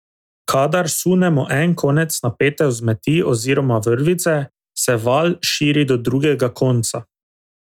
Kadar sunemo en konec napete vzmeti oziroma vrvice, se val širi do drugega konca.